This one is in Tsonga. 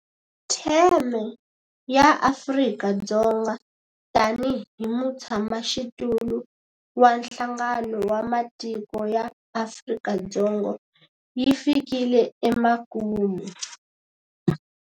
Theme ya Afrika-Dzonga tanihi mutshamaxitulu wa Nhlangano wa Matiko ya Afrika yi fikile emakumu.